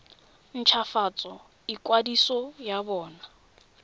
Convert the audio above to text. nt hwafatse ikwadiso ya bona